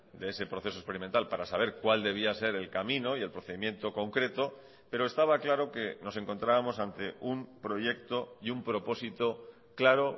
de ese proceso experimental para saber cuál debía ser el camino y el procedimiento concreto pero estaba claro que nos encontrábamos ante un proyecto y un propósito claro